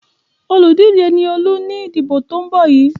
Olùdíje ni Olú ní ìdìbò tó ń bọ́ yìí.